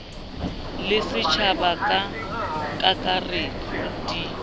le setjhaba ka kakaretso di